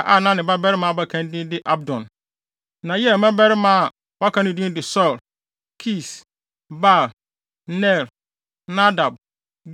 a na ne babarima abakan din de Abdon. Na Yeiel mmabarima a wɔaka no din de Sur, Kis, Baal, Ner, Nadab,